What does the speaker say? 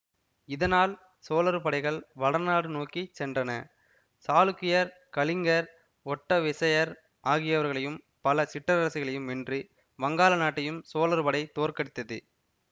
இதனால் சோழர் படைகள் வடநாடு நோக்கி சென்றன சாளுக்கியர் கலிங்கர் ஒட்ட விசயர் ஆகியவர்களையும் பல சிற்றரசர்களையும் வென்று வங்காள நாட்டையும் சோழர்படை தோற்கடித்தது